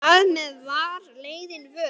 Þar með var leiðin vörðuð.